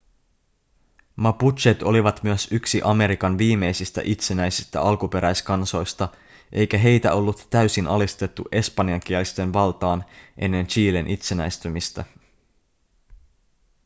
mapuchet olivat myös yksi amerikan viimeisistä itsenäisistä alkuperäiskansoista eikä heitä ollut täysin alistettu espanjankielisten valtaan ennen chilen itsenäistymistä